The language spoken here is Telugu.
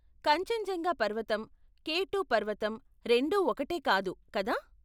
కాంచన్జంగా పర్వతం, కే టు పర్వతం, రెండూ ఒకటే కాదు, కదా?